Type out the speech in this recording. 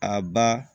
A ba